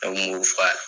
Ne kun b'o f'a ye